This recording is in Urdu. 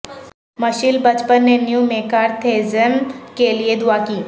مشیل بچمن نے نیو میکارتھیززم کے لئے دعا کی